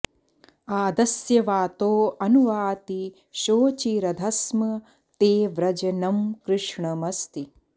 आद॑स्य॒ वातो॒ अनु॑ वाति शो॒चिरध॑ स्म ते॒ व्रज॑नं कृ॒ष्णम॑स्ति